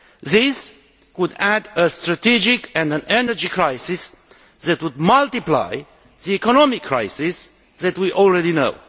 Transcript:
This could add a strategic and an energy crisis, which would multiply the economic crisis that we already know.